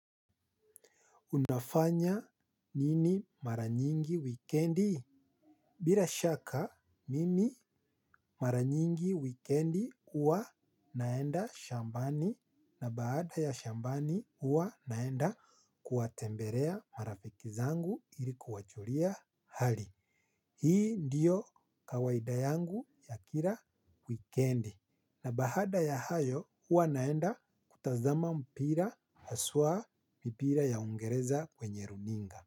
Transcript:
Unafanya nini mara nyingi wikendi? Bila shaka, mimi mara nyingi wikendi huwa naenda shambani na baada ya shambani huwa naenda kuwatembelea marafiki zangu ili kuwajulia hali. Hii ndiyo kawaida yangu ya kila wikendi. Na baada ya hayo huwa naenda kutazama mpira haswa mpira ya uingereza kwenye runinga.